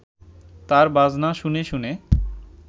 তার বাজনা শুনে শুনে